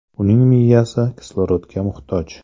Uning miyasi kislorodga muhtoj.